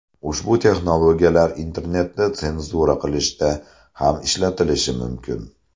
Ushbu texnologiyalar internetni senzura qilishda ham ishlatilishi mumkin.